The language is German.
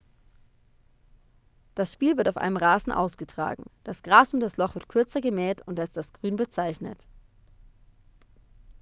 das spiel wird auf einem rasen ausgetragen das gras um das loch wird kürzer gemäht und als das grün bezeichnet